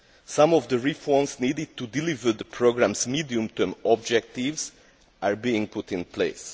Some of the reforms needed to deliver the programme's medium term objectives are being put in place.